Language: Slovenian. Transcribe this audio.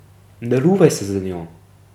Ne ruvaj se z njo.